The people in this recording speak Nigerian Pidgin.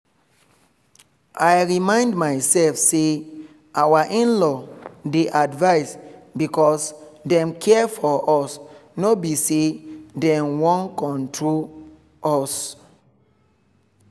i remind myself say our in-law dey advise because dem care for us no be say dem wan control us